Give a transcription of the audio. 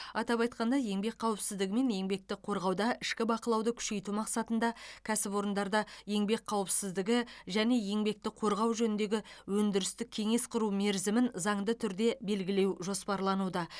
атап айтқанда еңбек қауіпсіздігі мен еңбекті қорғауда ішкі бақылауды күшейту мақсатында кәсіпорындарда еңбек қауіпсіздігі және еңбекті қорғау жөніндегі өндірістік кеңес құру мерзімін заңды түрде белгілеу жоспарлануда